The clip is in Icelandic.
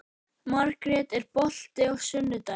Margrjet, er bolti á sunnudaginn?